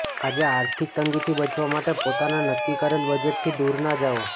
આજે આર્થીક તંગી થી બચવા માટે પોતાના નક્કી કરેલ બજેટ થી દુર ના જાઓ